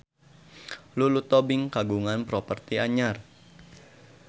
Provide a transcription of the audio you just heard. Lulu Tobing kagungan properti anyar